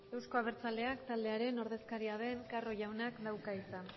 euzko abertzaleak taldearen ordezkaria den carro jaunak dauka hitza